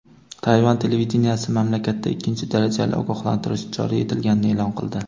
Tayvan televideniyesi mamlakatda ikkinchi darajali ogohlantirish joriy etilganini e’lon qildi.